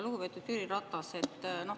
Lugupeetud Jüri Ratas!